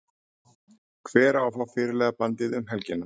Hver á að fá fyrirliðabandið um helgina?